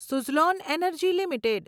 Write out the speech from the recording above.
Suzlon Energy limited